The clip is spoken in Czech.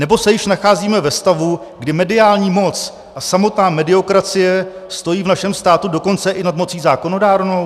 Nebo se již nacházíme ve stavu, kdy mediální moc a samotná mediokracie stojí v našem státě dokonce i nad mocí zákonodárnou?